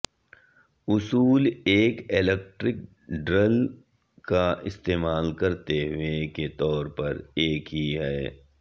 اصول ایک electric drill کا استعمال کرتے ہوئے کے طور پر ایک ہی ہے